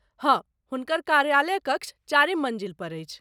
हँ, हुनकर कार्यालयकक्ष चारिम मन्जिलपर अछि।